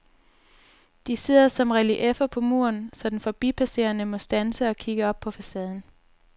De sidder som relieffer på muren, så den forbipasserende må standse og kigge op på facaden.